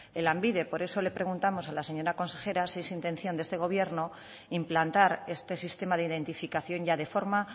en lanbide por eso le preguntamos a la señora consejera si es intención de este gobierno implantar este sistema de identificación ya de forma